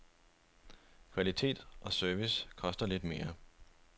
Kvalitet og service koster lidt mere.